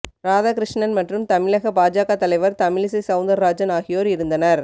ராதாகிருஷ்ணன் மற்றும் தமிழக பாஜக தலைவர் தமிழிசை சவுந்தர்ராஜன் ஆகியோர் இருந்தனர்